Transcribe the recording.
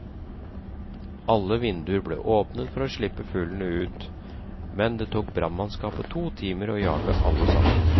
Alle vinduer ble åpnet for å slippe fuglene ut, men det tok brannmannskapet to timer å jage alle sammen.